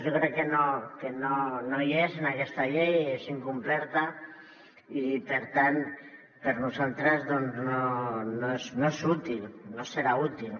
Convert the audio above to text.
jo crec que no hi és en aquesta llei és incompleta i per tant per nosaltres doncs no és útil no serà útil